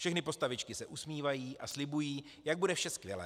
Všechny postavičky se usmívají a slibují, jak bude vše skvělé.